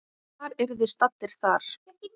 Hvar eruð þið staddir þar?